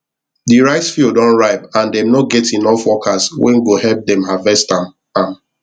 di rice field don ripe and them no get enough workers wen go help them harvest am am